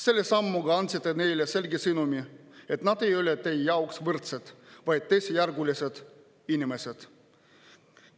Selle sammuga andsite neile selge sõnumi, et nad ei ole teie jaoks võrdsed, vaid teisejärgulised inimesed.